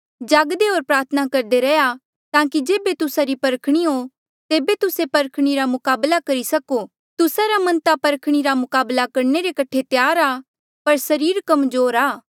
जागदे होर प्रार्थना करदे रैहया ताकि जेबे तुस्सा री परखणी हो तेबे तुस्से परखणी रा मुकाबला करी सको तुस्सा रा मन ता परखणी रा मुकाबला करने कठे त्यार आ पर सरीर कमजोर आ